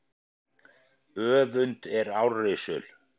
Öfund er árrisul.